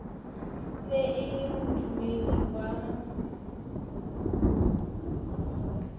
ne e le modumedi wa